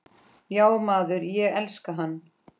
Já maður, ég elska hann.